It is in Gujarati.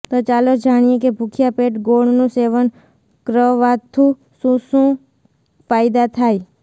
તો ચાલો જાણીએ કે ભૂખ્યા પેટ ગોળનું સેવન ક્ર્વાથું શું શું ફાયદા થાય